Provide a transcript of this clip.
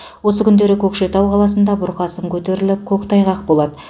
осы күндері көкшетау қаласында бұрқасын көтеріліп көктайғақ болады